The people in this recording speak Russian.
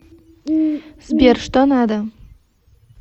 сбер что надо